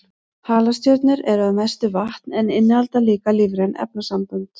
Halastjörnur eru að mestu vatn en innihalda líka lífræn efnasambönd.